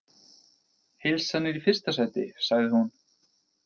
Heilsan er í fyrsta sæti, sagði hún.